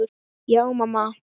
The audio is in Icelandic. Já, mamma.